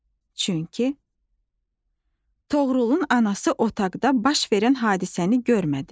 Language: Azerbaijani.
Çünki Toğrulun anası otaqda baş verən hadisəni görmədi.